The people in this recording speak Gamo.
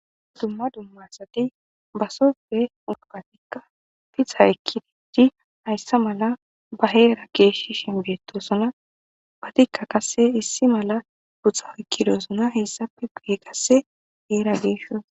Dumma dumma asati basope ubatikka fixa ekkididi hayssa mala ba heera geeshshi shinbeetosona batikka qasse issi mala huxxa ekkidosona hessape ge qasse heera geesho.